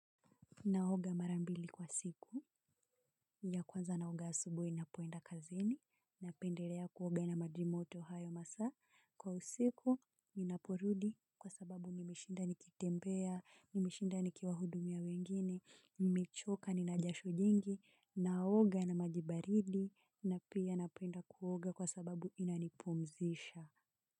Naoga mara mbili kwa siku. Ya kwanza naoga asubuhi napoenda kazini, napendelea kuoga na maji moto hayo masaa, kwa usiku ninaporudi kwa sababu nimeshinda nikitembea, nimeshinda nikiwahudumia wengine, nimechoka, ninajasho jengi, naoga na maji baridi na pia napenda kuoga kwa sababu inanipumzisha.